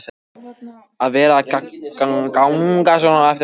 að vera að ganga svona á eftir manni.